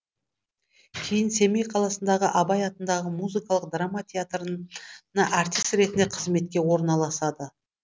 кейін семей қаласындағы абай атындағы музыкалық драма театрына артист ретінде қызметке орналасады